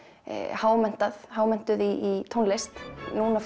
hámenntuð hámenntuð í tónlist núna